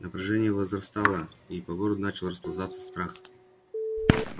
напряжение возрастало и по городу начал расползаться страх